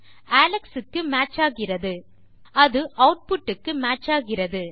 Alex க்கு match ஆகிறது அது ஆட்புட் க்கு மேட்ச் ஆகிறது